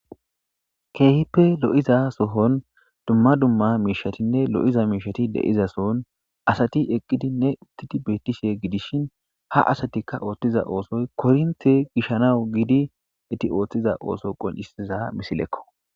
Keehippe lo'iza sohon dumma dumma mishatinne lo'iza mishat de'za sohon Asat eqidinne betishe gidishn ha asatika oothiza osoy koronte gishanawu gid eti otiza oso qoncisiza misilekko